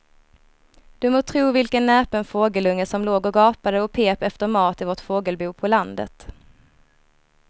Du må tro vilken näpen fågelunge som låg och gapade och pep efter mat i vårt fågelbo på landet.